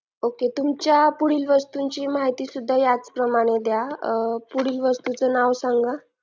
okay तुमच्या पुढील वस्तूंची माहिती सुद्धा याच प्रमाणे द्या पुढील वस्तूचं नाव सांगा